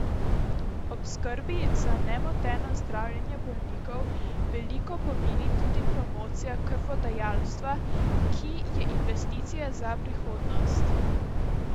Ob skrbi za nemoteno zdravljenje bolnikov veliko pomeni tudi promocija krvodajalstva, ki je investicija za prihodnost.